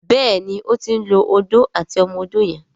Béèni o tin ló Odó àti ọmọ odó yen.